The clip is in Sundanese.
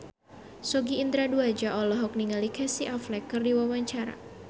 Sogi Indra Duaja olohok ningali Casey Affleck keur diwawancara